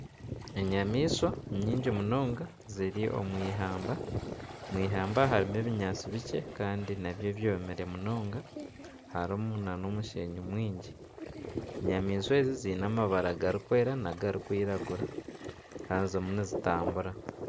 Enyamaishwa nyingi munonga ziri omu ihamba. Omu ihamba harimu ebinyaatsi bikye kandi nabyo byomire munonga. Harimu nana omushenyi mwingi. Enyamaishwa ezi ziine amabara gari kweera n'agarikwiragura. Haza zirimu nizitambura.